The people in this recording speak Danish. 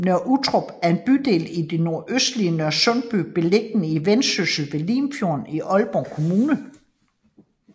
Nørre Uttrup er en bydel i det nordøstlige Nørresundby beliggende i Vendsyssel ved Limfjorden i Aalborg Kommune